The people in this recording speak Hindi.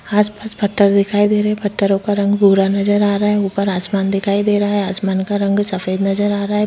आसपास पत्ता दिखाई दे रहा है पत्तो का रंग भूरा नज़र आ रहा है ऊपर आसमान दिखाई दे रहा है आसमान का रंग भी सफ़ेद नज़र आ रहा है।